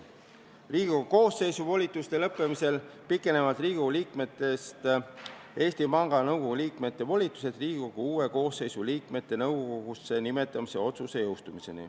Riigikogu koosseisu volituste lõppemisel pikenevad Riigikogu liikmest Eesti Panga Nõukogu liikme volitused seniks, kuni jõustub Riigikogu uue koosseisu liikmete nõukogusse nimetamise otsus.